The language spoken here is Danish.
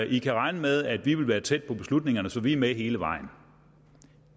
i kan regne med at vi vil være tæt på beslutningerne så vi er med hele vejen